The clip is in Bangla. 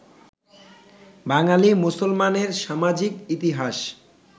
বাঙালি মুসলমানের সামাজিক ইতিহাস